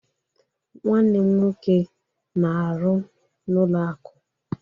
Nwanne m nwoke na-aru n'ụlọ akụ